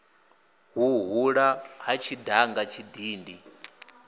hu hula ha tshidanga tshidindi